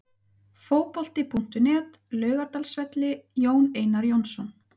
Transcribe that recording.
Fótbolti.net, Laugardalsvelli- Jón Einar Jónsson.